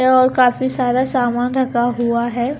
यहाँ और काफी सारा सामान रखा हुआ है।